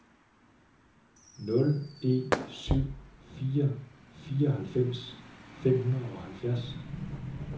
nul en syv fire fireoghalvfems fem hundrede og halvfjerds